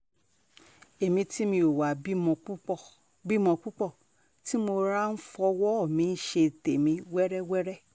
èmi tí mi ò wáá bímọ púpọ̀ bímọ púpọ̀ tí mo rọra ń fọwọ́ mi ṣe tèmi wẹ́rẹwẹ̀rẹ